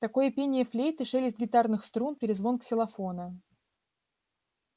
такое пение флейты шелест гитарных струн перезвон ксилофона